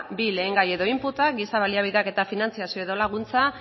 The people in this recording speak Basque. bi lehengai edo inputak giza baliabideak eta finantzazio edo laguntza